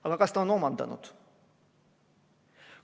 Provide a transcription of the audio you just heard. Aga kas ta on omandanud?